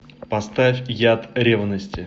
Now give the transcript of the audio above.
поставь яд ревности